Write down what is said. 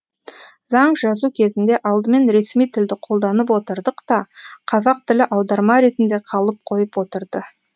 заң жазу кезінде алдымен ресми тілді қолданып отырдық та қазақ тілі аударма ретінде қалып қойып отырды